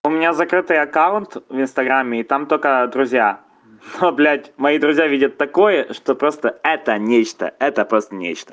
у меня закрытый аккаунт в инстаграме и там только друзья но блядь мои друзья видят такое это что просто это нечто это просто нечто